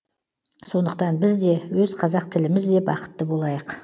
сондықтан біз де өз қазақ тіліміз де бақытты болайық